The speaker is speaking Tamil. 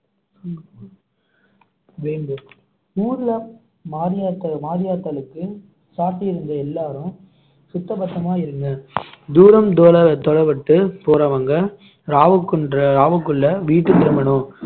வேம்பு ஊருல மாரியாத்தா மாரியாத்தாளுக்கு சாட்டி இருந்த எல்லாரும் சுத்தபத்தமா இருங்க தூரம் தொல~ தொலைபட்டு போறவங்க ராவுக்குன்~ ராவுக்குள்ள வீட்டு திரும்பனும்